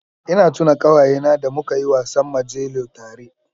Ina tuna ƙawayena da muka yi wasan majelo tare